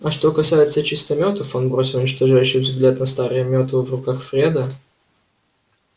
а что касается чистометов он бросил уничтожающий взгляд на старые метлы в руках фреда